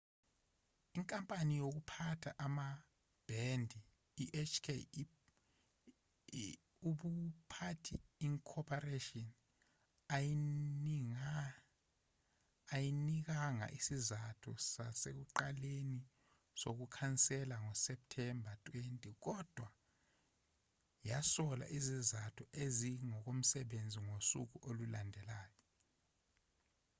inkampani yokuphatha amabhendi ihk ubuphathi inc ayinikanga isizathu sasekuqaleni sokukhansela ngoseptemba 20 kodwa yasola izizathu ezingokomsebenzi ngosuku olulandelayo